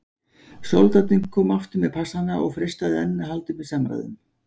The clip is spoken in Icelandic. Soldátinn kom aftur með passana og freistaði enn að halda uppi samræðum.